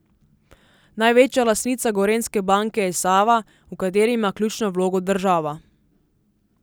Največja lastnica Gorenjske banke je Sava, v kateri ima ključno vlogo država.